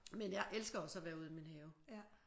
Men jeg elsker også at være ude i min have